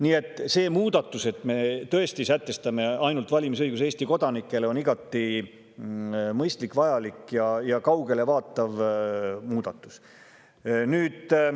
Nii et see muudatus, et me sätestame valimisõiguse tõesti ainult Eesti kodanikele, on igati mõistlik, vajalik ja kaugele vaatav.